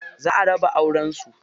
Za a raba auren su.